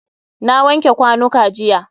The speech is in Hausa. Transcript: Na wanke kwanuka jiya.